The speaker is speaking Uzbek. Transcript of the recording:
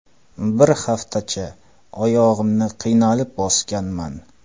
Bir haftacha oyog‘imni qiynalib bosganman.